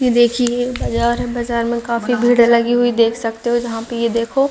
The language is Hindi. ये देखिये ये बाजार है बाजार में काफी भीड़ लगी हुई देख सकते हो जहाँ पे ये देखो --